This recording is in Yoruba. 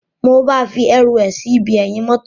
Mo ba fi eru é sí ibi eyin motor.